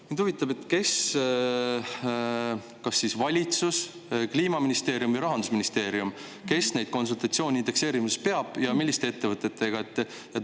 " Mind huvitab, kes – kas valitsus, Kliimaministeerium või Rahandusministeerium – neid konsultatsioone indekseerimisest peab ja milliste ettevõtetega.